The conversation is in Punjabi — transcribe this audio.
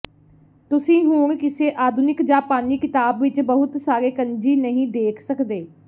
ਤੁਸੀਂ ਹੁਣ ਕਿਸੇ ਆਧੁਨਿਕ ਜਾਪਾਨੀ ਕਿਤਾਬ ਵਿਚ ਬਹੁਤ ਸਾਰੇ ਕੰਜੀ ਨਹੀਂ ਦੇਖ ਸਕਦੇ